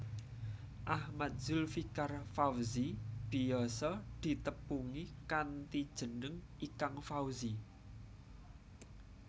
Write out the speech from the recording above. Ahmad Zulfikar Fawzi biyasa ditepungi kanthi jeneng Ikang Fawzi